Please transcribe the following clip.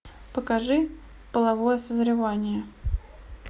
покажи половое созревание